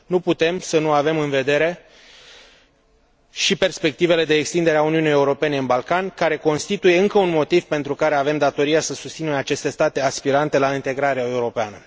Nu putem să nu avem în vedere și perspectivele de extindere a Uniunii Europene în Balcani, care constituie încă un motiv pentru care avem datoria să susținem aceste state aspirante la integrarea europeană.